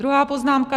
Druhá poznámka.